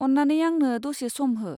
अन्नानै आंनो दसे सम हो।